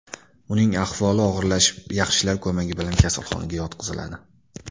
Uning ahvoli og‘irlashib yaxshilar ko‘magi bilan kasalxonaga yotqiziladi.